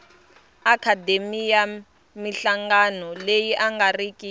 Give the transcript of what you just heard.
akhademiya minhlangano leyi nga riki